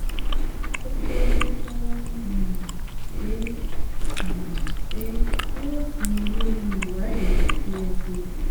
ìtọ́jú tó ń um ṣe ẹ́ um ṣe ẹ́ yóò sinmi lórí ìwádìí tí ẹ ṣe